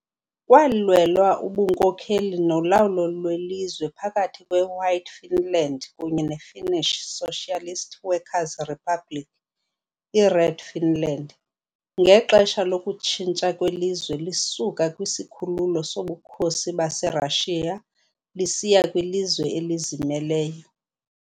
Kwalwelwa ubunkokeli nolawulo lwelizwe phakathi kweWhite Finland kunye neFinnish Socialist Workers' Republic, iRed Finland, ngexesha lokutshintsha kwelizwe lisuka kwisikhululo soBukhosi baseRashiya lisiya kwilizwe elizimeleyo.